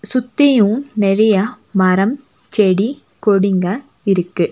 சுத்தியும் நெறைய மரம் செடி கொடிங்க இருக்கு.